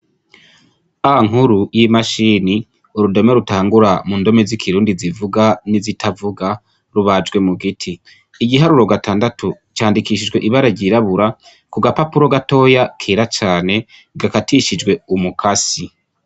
A nkuru y'imashini, urudome rutangura mu ndome z'ikirundi zivuga n'izitavuga rubajwe mu giti, igiharuro gatandatu candikishijwe ibara ryirabura ku gapapuro gatoya kera cane, gakatishijwe umukasi.